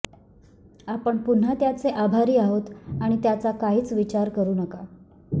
आपण पुन्हा त्याचे आभारी आहोत आणि त्याचा काहीच विचार करू नका